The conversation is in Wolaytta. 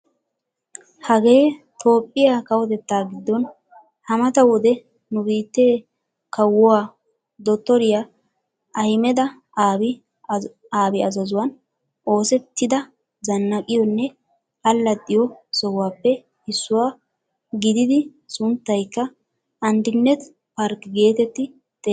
Hagee toophphiyaa kawottettaa giddon ha mata wode nu biittee kawuwaa dottoriyaa ahimeda abi azaazuwaan oosettida zanaqqiyoonne allaxiyoo sohuwaappe issuwaa giididi sunttaykka andineet park geetetti xeegettees.